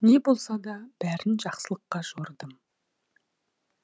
не болса да бәрін жақсылыққа жорыдым